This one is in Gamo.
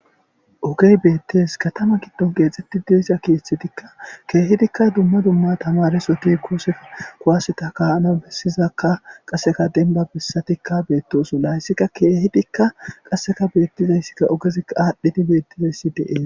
Ogey beettes .Katama giddon keexxetti de'iza keeththetikka keehidikka dumma dumma tamaresoti ekkosappe kuwaseti ka'anawu bessizaakka .Qasseka demiba bessatikka beettosona. Qassika keehidikka qasseka beettiza issikka ogeza aadhdhidi beettiza issi dees.